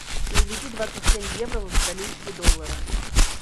переведи двадцать семь евро в австралийские доллары